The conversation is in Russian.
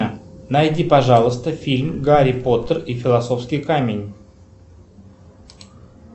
найди пожалуйста фильм гарри поттер и философский камень